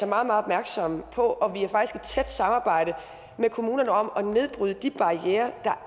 meget opmærksomme på og vi er faktisk tæt samarbejde med kommunerne om at nedbryde de barrierer der